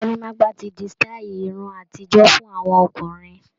Gorímápá ti di sítáì irun àtijọ́ fún àwọn ọkùnrin.